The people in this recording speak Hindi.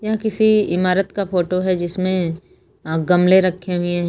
यह किसी इमारत का फोटो है जिसमें अ गमले रखे हुए है।